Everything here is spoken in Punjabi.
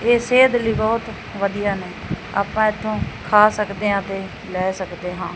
ਇਹ ਸਿਹਤ ਲਈ ਬਹੁਤ ਵਧੀਆ ਨੇ ਆਪਾਂ ਇਥੋਂ ਖਾ ਸਕਦੇ ਆਂ ਤੇ ਲੈ ਸਕਦੇ ਹਾਂ।